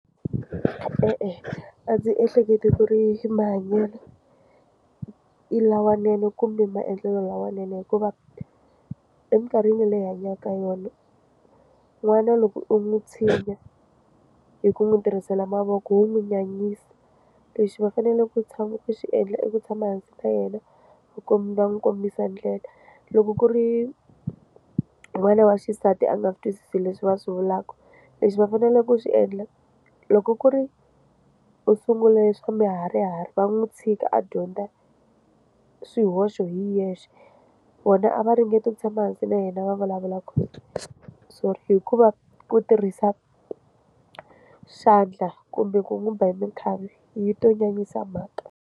E-e a ndzi ehleketi ku ri mahanyelo i lawanene kumbe maendlelo lawanene hikuva eminkarhini leyi hi hanyaka yona n'wana loko u n'wi tshinya hi ku n'wi tirhisela mavoko wu n'wi nyanyisa lexi va fanele ku tshama ku xi endla i ku tshama hansi na yena ku komba va n'wi kombisa ndlela loko ku ri n'wana wa xisati a nga swi twisisi leswi va swi vulaka lexi va fanele ku swi endla loko ku ri u sungule swa miharihari va n'wi tshika a dyondza swihoxo hi yexe vona a va ringeti ku tshama hansi na yena va vulavulaka sorry hikuva ku tirhisa xandla kumbe ku n'wi ba hi minkhavi yi to nyanyisa mhaka.